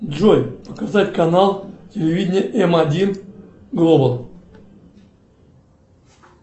джой показать канал телевидения м один глобал